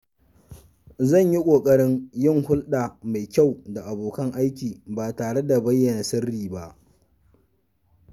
Zan yi ƙoƙari yin hulɗa mai kyau da abokan aiki ba tare da bayyana sirrina ba.